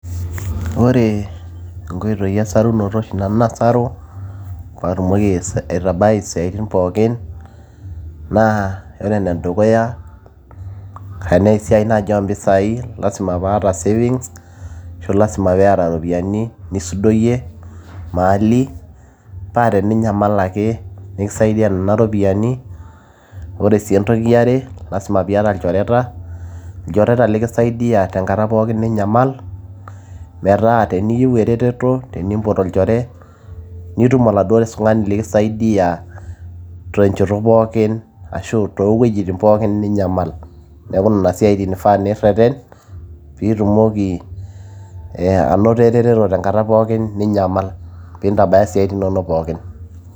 ore inkoitoi esarunoto oshi nanu nasaru paatumoki aitabai isiatin pookin naa ore enedukuya tenaa esiai naaji oompisai lasima paata savings ashu lasima peeta iropiyiani nisudoyie maali paa teninyamal ake nikisaidia nena ropiyiani ore sii entoki iare lasima piata ilchoreta, ilchoreta likisaidia tenkata pookin ninyamal metaa teniyieu eretoto tenimpot olchore nitum oladuo tung'ani likisaidia tenchoto pookin ashu toowuejitin pookin ninyamal neeku nena isiatin nifaa nirreten piitumoki ee anoto ereteto tenkata pookin ninyamal piintabaya isiatin inonok pookin.